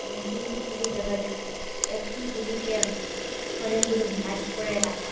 এবং তিনটি ঝুড়ি দেখা যাচ্ছে একটি ঝুড়িতে অনেকগুলো মাছ উপরে রাকা।